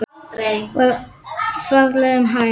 var svarað um hæl.